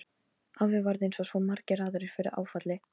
Afi varð eins og svo margir aðrir fyrir áfalli.